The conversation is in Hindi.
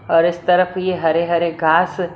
और इस तरफ ये हरे हरे घास--